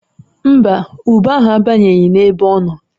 Mba, ube ahụ abanyeghị n'ebe ọ nọ